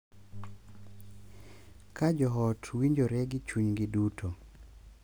Ka jo ot winjore gi chunygi duto,